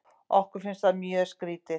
Okkur finnst það mjög skrítið.